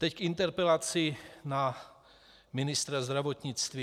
Teď k interpelaci na ministra zdravotnictví.